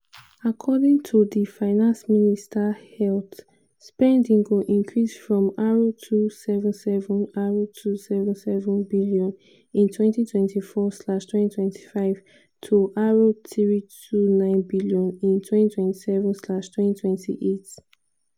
according to di finance minister health spending go increase from r277 r277 billion in 2024/2025 to r329 billion in 2027/2028.